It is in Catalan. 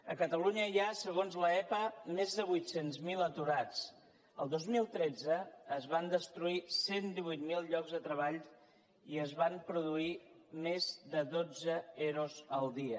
a catalunya hi ha segons l’epa més de vuit cents miler aturats el dos mil tretze es van destruir cent i divuit mil llocs de treball i es van produir més de dotze ero el dia